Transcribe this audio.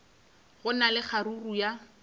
go na le kgaruru ya